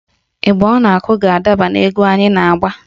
Ịgba ọ ga-akụ ga-adaba n'egwu anyị na-agba